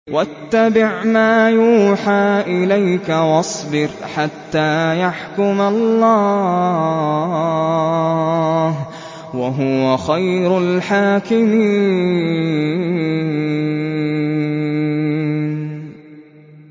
وَاتَّبِعْ مَا يُوحَىٰ إِلَيْكَ وَاصْبِرْ حَتَّىٰ يَحْكُمَ اللَّهُ ۚ وَهُوَ خَيْرُ الْحَاكِمِينَ